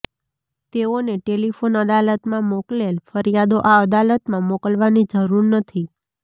તેઓને ટેલીફોન અદાલતમાં મોકલેલ ફરીયાદો આ અદાલતમાં મોકલવાની જરૂર નથી